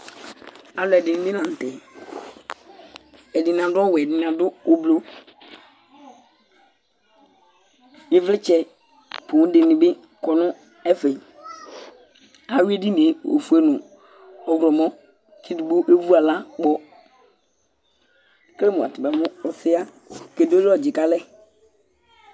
alo ɛdini bi lantɛ ɛdini adu ɔwɛ ɛdini adu ublɔ ivlitsɛ poŋ di ni bi kɔ no ɛfɛ awi edini yɛ ofue no ɔwlɔmɔ k'edigbo evu ala kpɔ ekele mo atani amo ɔsɛ ɣa ake doli ɔdzi k'alɛ